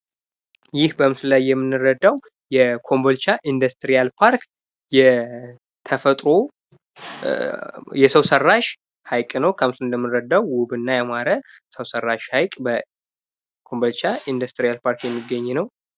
ይህ በምስሉ ላይ የምንረዳው የኮንቦልቻ ኢንዱስትሪያል ፓርክ የተፈጥሮ የሰው ሰራሽ ሃይቅ ነው። ከምስሉ እንደምንረዳው ውብና ያማረ ሰው ሰራሽ ሃይቅ በኮንቦልቻ ኢንዱስትሪያል ፓርክ የሚገኝ ነው።